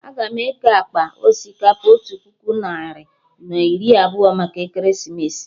Aga m eke akpa osikapa otu puku narị na iri abụọ maka ekeresimesi